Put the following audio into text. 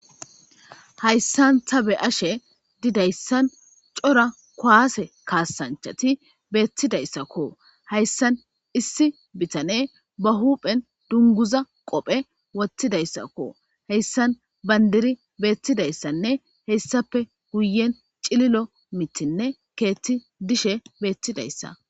hayssan ta be ashe didayssan cora kuaase kaasanchati beettidayssakko hayssan issi bitane ba huphen dunguza qophe wottidayssakko heyssan bandiri beettidayssanne heyssappe guyen cililo mitinne keethti dishe beettidayssa